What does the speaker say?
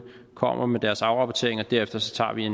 kommer med deres afrapportering og derefter tager vi